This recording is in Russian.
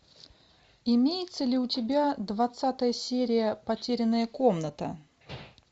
имеется ли у тебя двадцатая серия потерянная комната